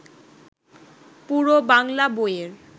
পুরো বাংলা বইয়ের